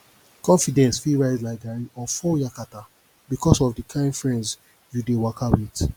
confidence fit rise like garri or fall yakata bikos of di kain friends yu dey waka wit